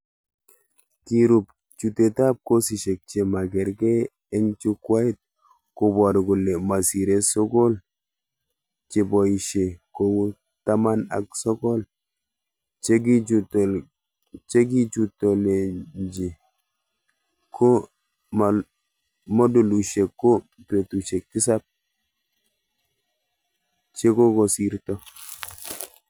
Kirub chutetab kosishek chemakerker eng jukwait koboru kole masire sokol cheboishe kou taman ak sokol chekichutolekinye, ko modulishek ko betushek tisab chekokosirto